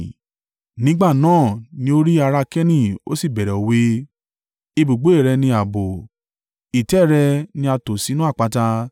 Nígbà náà ní ó rí ará Keni ó sì bẹ̀rẹ̀ òwe: “Ibùgbé rẹ ní ààbò, ìtẹ́ rẹ ni a tò sínú àpáta;